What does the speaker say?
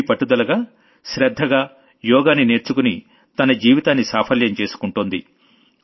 అన్వీ పట్టుదలగా శ్రద్ధగా యోగాని నేర్చుకుని తన జీవితాన్ని సాఫల్యం చేసుకుంది